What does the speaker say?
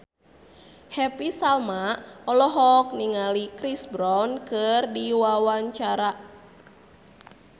Happy Salma olohok ningali Chris Brown keur diwawancara